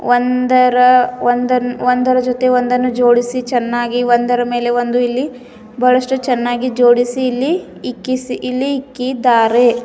ಒಂದರ ಒಂದನ್ ಒಂದರ ಜೊತೆ ಒಂದನ್ನು ಜೋಡಿಸಿ ಚೆನ್ನಾಗಿ ಒಂದರ ಮೇಲೆ ಒಂದು ಇಲ್ಲಿ ಬಹಳಷ್ಟು ಚೆನ್ನಾಗಿ ಜೋಡಿಸಿ ಇಲ್ಲಿ ಇಕ್ಕಿಸಿ ಇಲ್ಲಿ ಇಕ್ಕಿದ್ದಾರೆ.